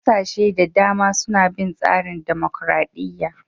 Kasashe da dama suna bin tsarin dimokuradiyya.